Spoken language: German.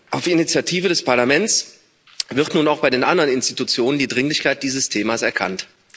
Auf Initiative des Parlaments wird nun auch bei den anderen Institutionen die Dringlichkeit dieses Themas erkannt.